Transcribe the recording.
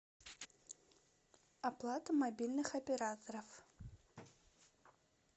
оплата мобильных операторов